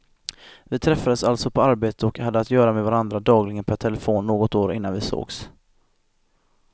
Vi träffades alltså på arbetet och hade att göra med varandra dagligen per telefon något år innan vi sågs.